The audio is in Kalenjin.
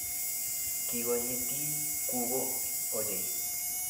Kikonyitii gugo ochei